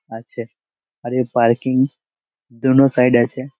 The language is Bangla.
আছে আর এর পার্কিং জোন ও সাইড -আছে ।